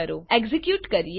ચાલો એક્ઝેક્યુટ કરીએ